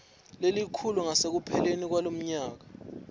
lelikhulu ngasekupheleni kwalomnyaka